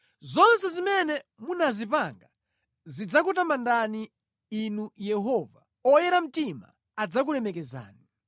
Zonse zimene munazipanga zidzakutamandani, Inu Yehova; oyera mtima adzakulemekezani.